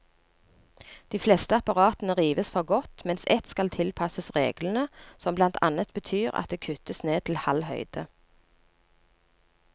De fleste apparatene rives for godt, mens ett skal tilpasses reglene, som blant annet betyr at det kuttes ned til halv høyde.